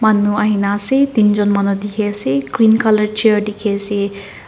manu ahina ase tinjun manu dikhi ase green color chair dikhiase.